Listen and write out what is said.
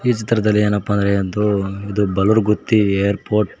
ಈ ಚಿತ್ರದಲ್ಲಿ ಏನಪ್ಪಾ ಅಂದ್ರೆ ಇದು ಬೊಲುರ್ಗುತ್ತಿ ಏರ್ಪೋರ್ಟ್ .